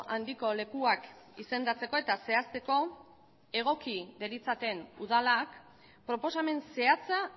handiko lekuak izendatzeko eta zehazteko egoki deritzaten udalak proposamen zehatza